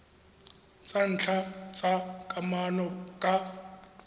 tsa ntlha tsa kamano ka